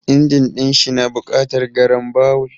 Injin ɗin shi na buƙatar garambawul.